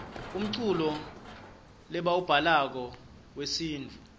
umculo lebauwablako yuesintfu